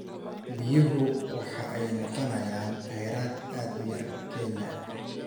Biyuhu waxa ay noqonayaan kheyraad aad u yar Kenya.